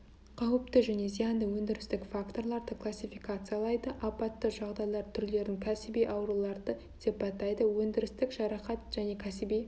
қауіпті және зиянды өндірістік факторларды классификациялайды апатты жағдайлар түрлерін кәсіби ауруларды сипаттайды өндірістік жарақат және кәсіби